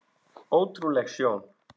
Ótrúleg sjón.